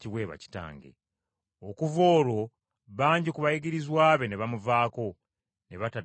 Okuva olwo bangi ku bayigirizwa be ne bamuvaako ne bataddayo kuyita naye.